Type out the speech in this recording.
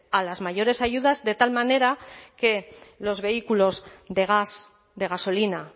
a las mayores ayudas de tal manera que los vehículos de gas de gasolina